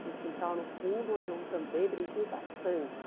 Tinha um quintal no fundo onde eu também brinquei bastante.